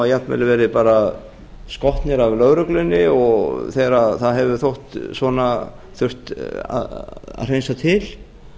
jafnvel verið bara skotnir af lögreglunni þegar það hefur þótt svona þurft að hreinsa til